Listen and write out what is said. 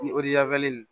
Ni